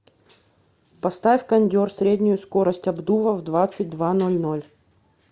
поставь кондер среднюю скорость обдува в двадцать два ноль ноль